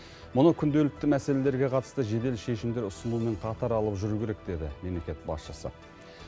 мұны күнделікті мәселелерге қатысты жедел шешімдер ұсынумен қатар алып жүру керек деді мемлекет басшысы